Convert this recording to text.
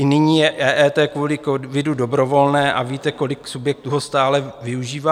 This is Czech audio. I nyní je EET kvůli covidu dobrovolné a víte, kolik subjektů ho stále využívá?